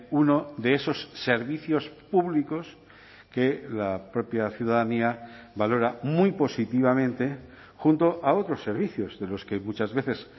uno de esos servicios públicos que la propia ciudadanía valora muy positivamente junto a otros servicios de los que muchas veces